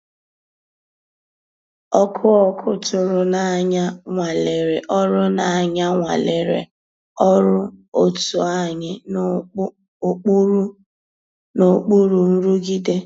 Ọ́kụ́ ọ́kụ́ tụ̀rụ̀ n'ànyá nwàlérè ọ́rụ́ n'ànyá nwàlérè ọ́rụ́ ótú ànyị́ n'òkpùrú nrụ̀gídé.